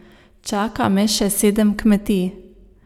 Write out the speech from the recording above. Čaka me še sedem kmetij.